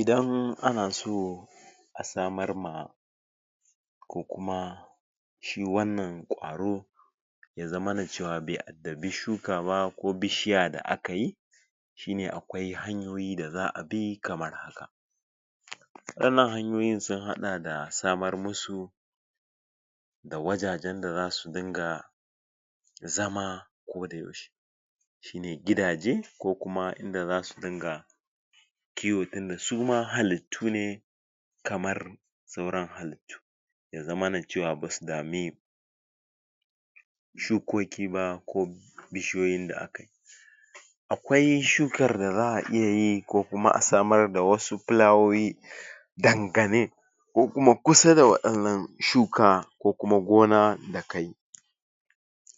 Idan ana so a samar ma ko kuma shi wannan kwaro ya zamana cewa bai iddabi shuka ba ko bishiya da aka yi shine akwai hanyoyi da za a bi kamar wannan hanyoyin sun haɗa da samar musu da wajajen da za su dinga zama ko da yaushe mai gidaje ko kuma inda za su dinga kiwo tunda su ma halittu ne kamar sauran halittu ya zamana cewa ba su dami shukoki ba ko bishiyoyin da aka akwai shukar da za a iya ko kuma a samar da wasu filawoyi dangane ko kuma kusa da wannan shuka ko kuma gona da kayi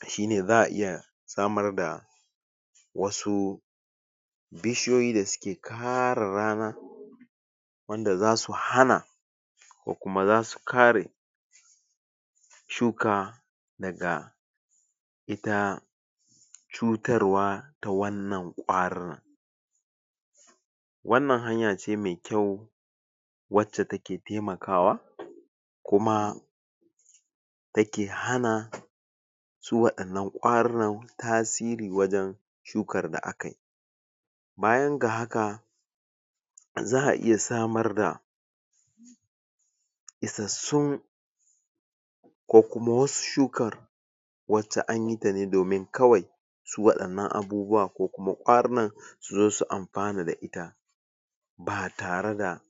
shine za a iya samar da wasu bishiyoyi da suke kare rana wanda za su hana ko kuma za su kare shuka daga ita cutarwa ta wannan kwarin wannan hanya ce mai kyau wacce take taimakawa kuma take hana su waɗannan kwarunann tasiri wajen shukar da akayi bayan ga haka za a iya samar da isassun ko kuma wasu shukar wacce anyi ta domin kawai su waɗannan abubuwan ko kuma ƙwarunan su zo su amfana da ita ba tare da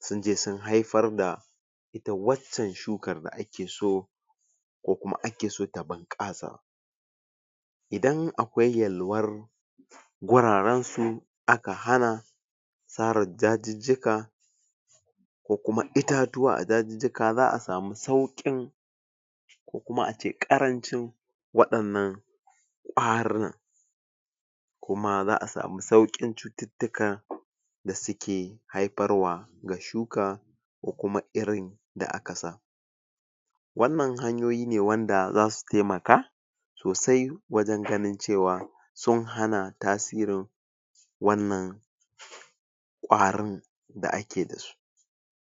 sun je sun haifar da ita waccan shukar da ake so ko kuma ake so ta bunƙasa idan akwai yalwar guraren su aka hana tsara dajijjika ko kuma itatuwa a dajijjika za a samu sauƙin ko kuma ace ƙarancin wadannan kwarun kuma za a samu sauƙin cututtukan da suke haifar wa ga shuka ko kuma irin da aka sa wannan hanyoyi ne wanda za su taimaka sosai wajen ganin cewa sun hana tasirin wannan kwarin da ake da su.